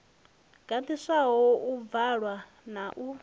gandiswaho u bvalwa na u